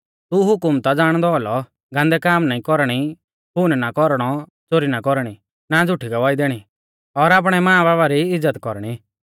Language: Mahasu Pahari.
तू हुकम ता ज़ाणदौ औलौ गान्दै काम ना कौरणी खून ना कौरणौ च़ोरी ना कौरणी ना झ़ुठी गवाही दैणी और आपणै मांबाबा री इज़्ज़त कौरणी